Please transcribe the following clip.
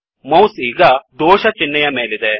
mouse ಈಗ ದೋಷ ಚಿಹ್ನೆಯ ಮೇಲಿದೆ